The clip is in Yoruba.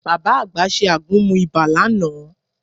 Bàbá àgbà ṣe àgúnmu ibà lánàá